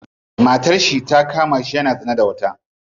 Matarshi ta kamashi yana zina da wata.